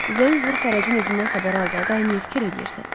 Zəng vur Fərəcin özündən xəbər al da, niyə fikir eləyirsən?